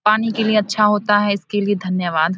पानी के लिए अच्छा होता है इसके लिए ध्यानवाद।